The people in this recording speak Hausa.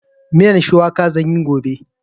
Miyan shuwaka zan yi gobe.